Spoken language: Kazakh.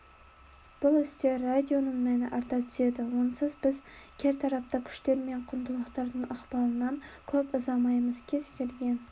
бұл істе радионың мәні арта түседі онсыз біз кертартпа күштер мен құндылықтардың ықпалынан көп ұзамаймыз кез-келген